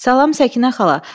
Salam, Səkinə xala.